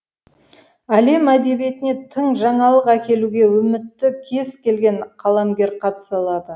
әлем әдебиетіне тың жаңалық әкелуге үмітті кез келген қаламгер қатыса алады